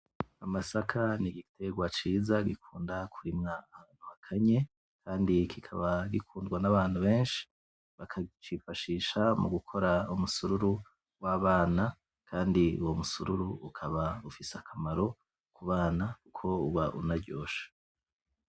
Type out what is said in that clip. Amasaka n'igiterwa ciza gikunda kurimwa ahantu hakanye kandi kikaba gikundwa n'abantu beshi baka cifashisha mugukora umusururu wabana kandi uwo musururu ukaba ufise akamaro kubana kuko uba unaryoshe.